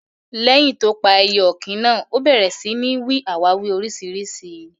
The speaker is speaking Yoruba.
Leyin tó pà èyẹ òkín náà, ó bèrè sí ní n wí àwàwí oríṣiríṣi.